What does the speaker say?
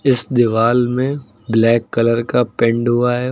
इस दीवाल में ब्लैक कलर का पेंड हुआ है।